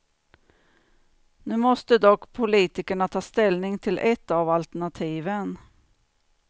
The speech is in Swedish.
Nu måste dock politikerna ta ställning till ett av alternativen.